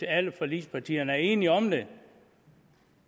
alle forligspartierne er enige om det